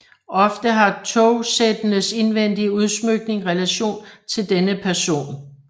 Ofte har togsættenes indvendige udsmykning relation til denne person